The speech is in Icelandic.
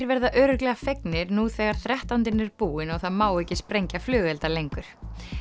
verða örugglega fegnir nú þegar þrettándinn er búinn og það má ekki sprengja flugelda lengur